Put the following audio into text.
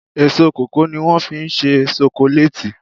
Èso kòkó ní wọ́n fí ń se sokoléètì